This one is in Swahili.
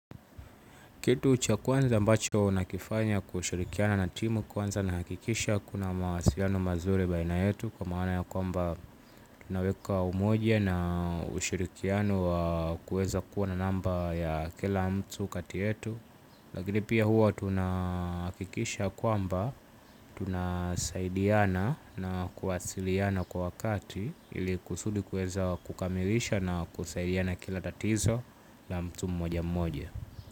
Kitu cha kwanza ambacho nakifanya kushirikiana na timu kwanza nahakikisha kuna mawasiliano mazuri baina yetu kwa maana ya kwamba tunaweka umoja na ushirikiano wa kuweza kuwa na namba ya kila mtu kati yetu. Lakini pia huwa tunahakikisha kwamba tunasaidiana na kuwasiliana kwa wakati ili kusudi kueza kukamilisha na kusaidiana kila tatizo na mtu mmoja mmoja.